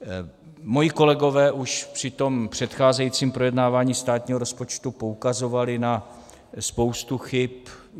Moji kolegové už při tom předcházejícím projednávání státního rozpočtu poukazovali na spoustu chyb.